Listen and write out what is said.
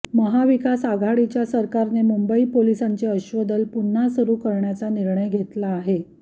महाविकास आघाडीच्या सरकारने मुंबई पोलिसांचे अश्वदल पुन्हा सुरू करण्याचा निर्णय घेतला आहे